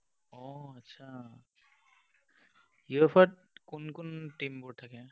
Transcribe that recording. অ, আচ্ছা। UFA ত কোন কোন team বোৰ থাকে?